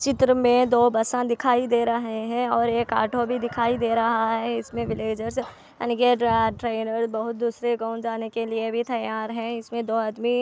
यह दो बसा दिखाई दे रहा है और एक ऑटो भी दिखाई दे रहा है इसमें विल्लजेर्स इनके ड्रा-ड्राइवर बोहोत दूसरे गांव जाने के लिए भी तैयार है इसमें दो आदमी--